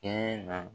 Kɛɲɛ na